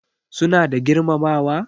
Suna da girmamawa?